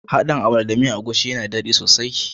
Haɗin " amala" da miyan agushi yana da dadi sosai.